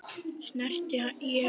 Snerti ég hann?